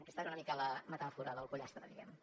aquesta era una mica la metàfora del pollastre diguem ne